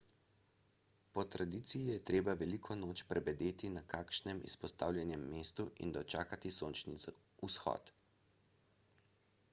po tradiciji je treba veliko noč prebedeti na kakšnem izpostavljenem mestu in dočakati sončni vzhod